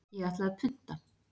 Ég ætla að punta.